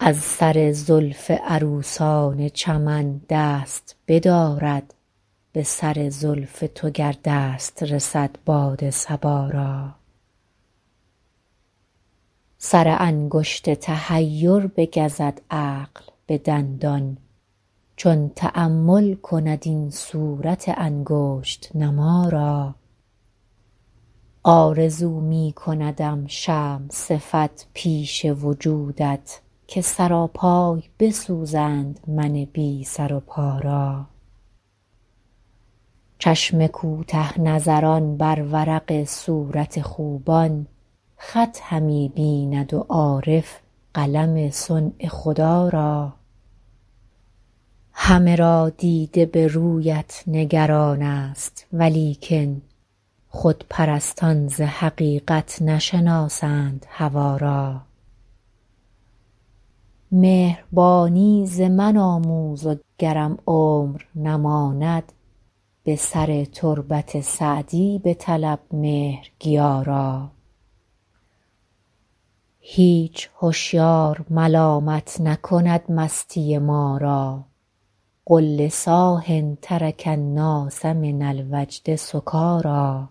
از سر زلف عروسان چمن دست بدارد به سر زلف تو گر دست رسد باد صبا را سر انگشت تحیر بگزد عقل به دندان چون تأمل کند این صورت انگشت نما را آرزو می کندم شمع صفت پیش وجودت که سراپای بسوزند من بی سر و پا را چشم کوته نظران بر ورق صورت خوبان خط همی بیند و عارف قلم صنع خدا را همه را دیده به رویت نگران ست ولیکن خودپرستان ز حقیقت نشناسند هوا را مهربانی ز من آموز و گرم عمر نماند به سر تربت سعدی بطلب مهرگیا را هیچ هشیار ملامت نکند مستی ما را قل لصاح ترک الناس من الوجد سکاریٰ